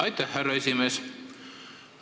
Aitäh, härra esimees!